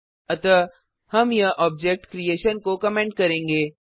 अतः हम यह ऑब्जेक्ट क्रिएशन को कमेंट करेंगे